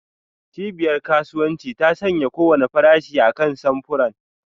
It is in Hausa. Cibiyar kasuwanci ta sanya kowane farashi akan samfuran.